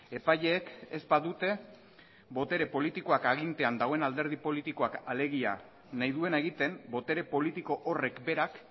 epaileek ez badute botere politikoak agintean dagoen alderdi politikoak alegia nahi duena egiten botere politiko horrek berak